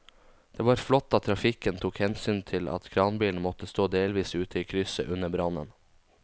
Det var flott at trafikken tok hensyn til at kranbilen måtte stå delvis ute i krysset under brannen.